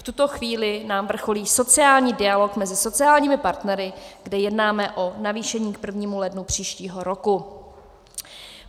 V tuto chvíli nám vrcholí sociální dialog mezi sociálními partnery, kde jednáme o navýšení k 1. lednu příštího roku.